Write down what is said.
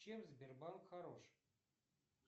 чем сбербанк хорош